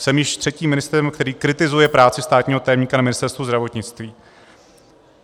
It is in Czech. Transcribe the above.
Jsem již třetím ministrem, který kritizuje práci státního tajemníka na Ministerstvu zdravotnictví.